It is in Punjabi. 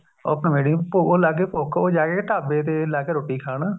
ਉਹ ਆਪਣੇ ਉਹ ਲੱਗ ਗਈ ਭੁੱਖ ਉਹ ਜਾ ਕੇ ਢਾਬੇ ਤੇ ਲਾਗੇ ਰੋਟੀ ਖਾਣ